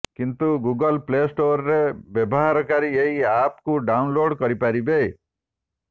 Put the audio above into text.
କିନ୍ତୁ Google play ଷ୍ଟୋରରେ ବ୍ୟବହାରକାରୀ ଏହି ଆପ୍କୁ ଡାଉନ୍ଲୋଡ କରି ପାରିବେ